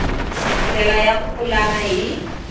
ndlela ya ku pulana hi